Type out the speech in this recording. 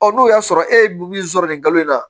n'o y'a sɔrɔ e ye min sɔrɔ nin kalo in na